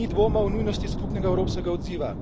Ni dvoma v nujnost skupnega evropskega odziva.